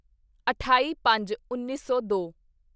ਅਠਾਈਪੰਜਉੱਨੀ ਸੌ ਦੋ